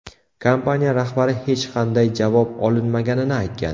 Kompaniya rahbari hech qanday javob olinmaganini aytgan.